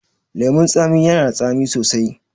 Lemun tsamiya yana da tsami sosai